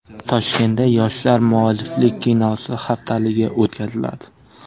Toshkentda Yoshlar mualliflik kinosi haftaligi o‘tkaziladi.